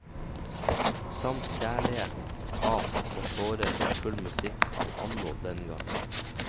Samt kjærlighet, hat og tårer for full musikk av anno dengang.